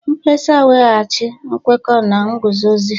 Mkpesa weghachi nkwekọ na nguzozi: